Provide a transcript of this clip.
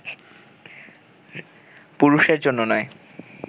পুরুষের জন্য নয়